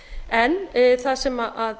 en það sem